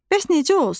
Bəs necə olsun?